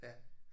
Ja